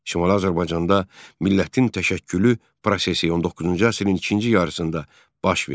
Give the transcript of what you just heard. Şimali Azərbaycanda millətin təşəkkülü prosesi 19-cu əsrin ikinci yarısında baş verdi.